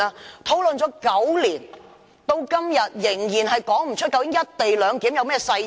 這已討論了9年，至今仍然說不出究竟"一地兩檢"有何細節。